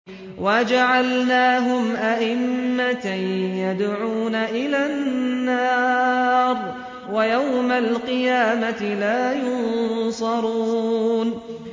وَجَعَلْنَاهُمْ أَئِمَّةً يَدْعُونَ إِلَى النَّارِ ۖ وَيَوْمَ الْقِيَامَةِ لَا يُنصَرُونَ